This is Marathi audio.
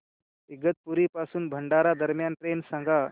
इगतपुरी पासून भंडारा दरम्यान ट्रेन सांगा